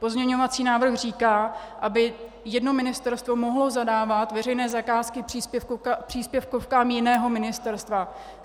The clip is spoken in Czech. Pozměňovací návrh říká, aby jedno ministerstvo mohlo zadávat veřejné zakázky příspěvkovkám jiného ministerstva.